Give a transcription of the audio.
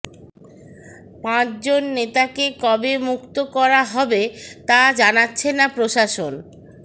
পাঁচজন নেতাকে কবে মুক্ত করা হবে তা জানাচ্ছে না প্রশাসন